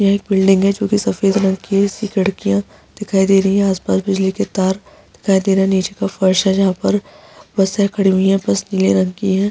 यह एक बिल्डिंग है जो कि सफ़ेद रंग की है इसकी खिड़कियाँ दिखाई दे रही हैं आस-पास बिजली के तार दिखाई दे रहे हैं नीचे के फर्श है जहाँ पर बसें खड़ी हुई हैं बस नीले रंग की है।